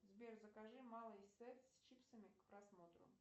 сбер закажи малый сет с чипсами к просмотру